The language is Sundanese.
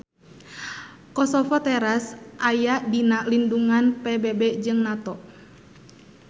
Kosovo teras aya dina lindungan PBB jeung NATO.